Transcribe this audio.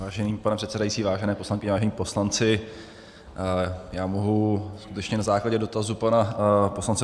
Vážený pane předsedající, vážené poslankyně, vážení poslanci, já mohu skutečně na základě dotazu pana poslance